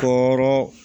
K'o